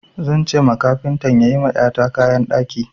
Zan ce ma kafintan ya yi ma ƴata kayan ɗaki.